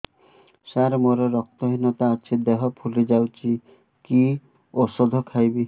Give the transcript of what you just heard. ସାର ମୋର ରକ୍ତ ହିନତା ଅଛି ଦେହ ଫୁଲି ଯାଉଛି କି ଓଷଦ ଖାଇବି